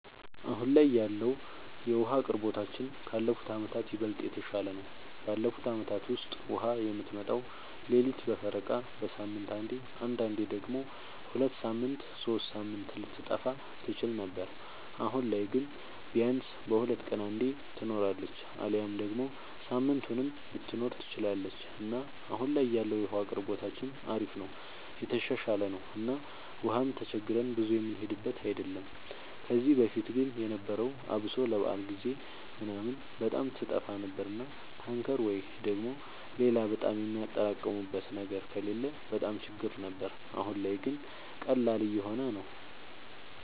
አሁን ላይ ያለወለ የዉሀ አቅርቦታችን ካለፉት አመታት ይበልጥ የተሻለ ነው። ባለፉት አመታት ውስጥ ውሃ የምትመጣው ሌሊት በፈረቃ፣ በሳምንት አንዴ አንዳንዴም ደግሞ ሁለት ሳምንት ሶስት ሳምንት ልትጠፋ ትችል ነበር። አሁን ላይ ግን ቢያንስ በሁለት ቀን አንዴ ትኖራለች አሊያም ደግሞ ሳምንቱንም ልትኖር ትችላለች እና አሁን ላይ ያለው የውሃ አቅርቦታችን አሪፍ ነው የተሻሻለ ነው እና ውሃም ተቸግረን ብዙ የምንሄድበት አይደለም። ከዚህ በፊት ግን የነበረው አብሶ ለበዓል ጊዜ ምናምን በጣም ትጠፋ ነበር እና ታንከር ወይ ደግሞ ሌላ በጣም የሚያጠራቅሙበት ነገር ከሌለ በጣም ችግር ነበር። አሁን ላይ ግን ቀላል እየሆነ ነው።